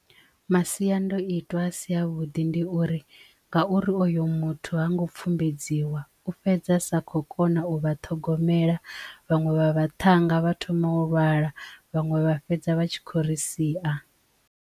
Masiandoitwa a si a vhuḓi ndi uri ngauri oyo muthu ha ngo pfumbedziwa u fhedza sa kho kona u vha ṱhogomela vhaṅwe vha vhaṱhannga vha thoma u lwala, vhaṅwe vha fhedza vha tshi kho ri sia.